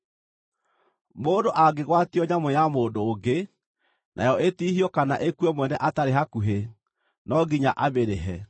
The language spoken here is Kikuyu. “Mũndũ angĩgwatio nyamũ ya mũndũ ũngĩ, nayo ĩtihio kana ĩkue mwene atarĩ hakuhĩ, no nginya amĩrĩhe.